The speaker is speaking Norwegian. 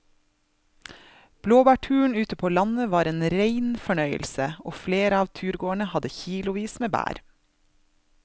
Blåbærturen ute på landet var en rein fornøyelse og flere av turgåerene hadde kilosvis med bær.